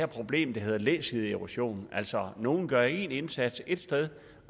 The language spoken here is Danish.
problem der hedder læsideerosion altså nogle gør en indsats et sted